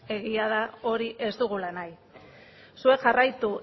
egia da hori ez dugula nahi zuek jarraitu